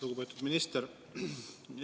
Lugupeetud minister!